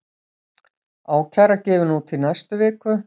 Ákæra gefin út í næstu viku